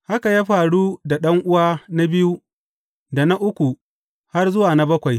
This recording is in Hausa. Haka ya faru da ɗan’uwa na biyu da na uku, har zuwa na bakwai.